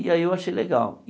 E aí eu achei legal.